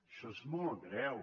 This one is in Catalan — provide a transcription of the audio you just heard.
això és molt greu